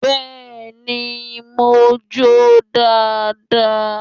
Beeni, mo jó dáadáa.